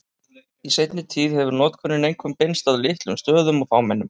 Í seinni tíð hefur notkunin einkum beinst að litlum stöðum og fámennum.